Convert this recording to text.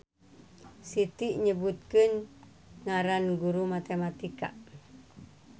Siti nyebutkeun ngaran guru matematika